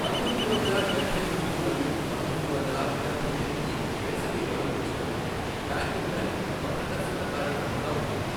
పంతొమ్మిది వందల డబ్బై రెండు మరియు పంతొమ్మిది వందల ఎనభై ఎనిమిది వేసవి ఒలింపిక్స్లో బ్యాడ్మింటన్ ఒక ప్రదర్శనా కార్యక్రమంగా ఉండింది.